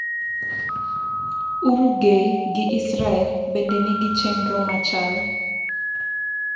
Uruguay gi Israel bende nigi chenro machal.